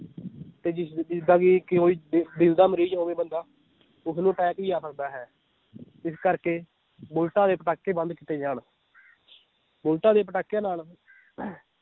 ਤੇ ਜਿਸ ਜਿਸ ਦਾ ਵੀ ਕੋਈ ਦਿ~ ਦਿਲ ਦਾ ਮਰੀਜ ਹੋਵੇ ਬੰਦਾ ਉਸ ਨੂੰ attack ਵੀ ਆ ਸਕਦਾ ਹੈ ਇਸ ਕਰਕੇ ਬੁਲਟਾਂ ਦੇ ਪਟਾਕੇ ਬੰਦ ਕੀਤੇ ਜਾਣ ਬੁਲਟਾਂ ਦੇ ਪਟਾਕਿਆਂ ਨਾਲ